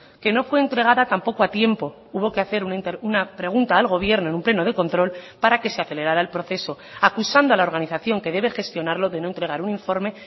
que no fue entregada tampoco a tiempo hubo que hacer una pregunta al gobierno en un pleno de control para que se acelerara el proceso acusando a la organización que debe gestionarlo de no entregar un informe